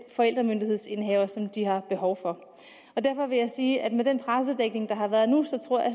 forældremyndighedsindehaver som de har behov for derfor vil jeg sige at med den pressedækning der har været nu så tror jeg